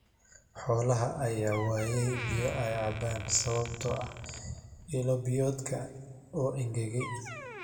Xoolaha ayaa waaya biyo ay cabaan sababtoo ah ilo biyoodka oo engegay.